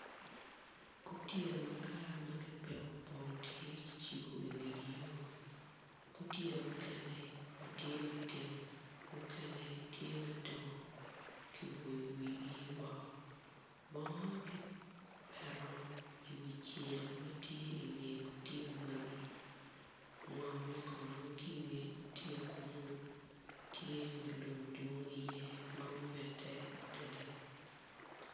Gutiya makar ma kipiko pong tye kicibo inget yo gutiya mukene tye matino mukene tye madongo kiboyo wigi woko bongo kipeto iwi cel ma tye inge gutiya magi ngomme kono ki inge gutiya kuno tye ma lum dwong iye tye ma omette adada.